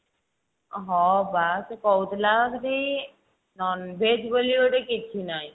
ଅ ହଁ ବା ସେ କହୁଥିଲା ସେଠି non veg ବୋଲି ଗୋଟେ କିଛି ନାହିଁ